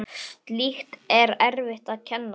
Slíkt er erfitt að kenna.